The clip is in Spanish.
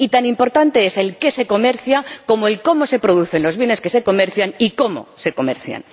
Y tan importante es el qué se comercia como el cómo se producen los bienes que se comercian y el cómo se comercian.